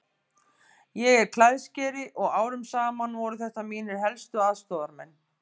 Ég er klæðskeri og árum saman voru þetta mínir helstu aðstoðarmenn.